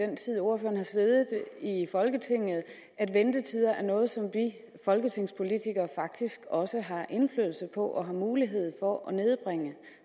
den tid ordføreren har siddet i folketinget at ventetider er noget som vi folketingspolitikere faktisk også har indflydelse på og har mulighed for at nedbringe